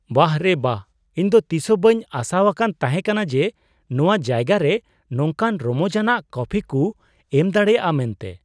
ᱵᱟᱦ ᱨᱮ ᱵᱟᱦ ! ᱤᱧ ᱫᱚ ᱛᱤᱥ ᱦᱚᱸ ᱵᱟᱹᱧ ᱟᱥᱟᱣᱟᱠᱟᱱ ᱛᱟᱦᱮᱠᱟᱱᱟ ᱡᱮ ᱱᱚᱣᱟ ᱡᱟᱭᱜᱟ ᱨᱮ ᱱᱚᱝᱠᱟᱱ ᱨᱚᱢᱚᱡᱟᱱᱟᱜ ᱠᱚᱯᱷᱤ ᱠᱩ ᱮᱢ ᱫᱟᱲᱮᱭᱟᱜᱼᱟ ᱢᱮᱱᱛᱮ ᱾